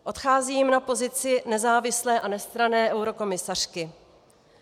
Odcházím na pozici nezávislé a nestranné eurokomisařky.